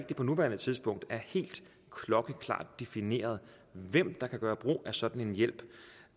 det på nuværende tidspunkt er helt klokkeklart defineret hvem der kan gøre brug af en sådan hjælp